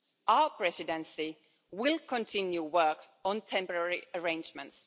Our Presidency will continue work on temporary arrangements.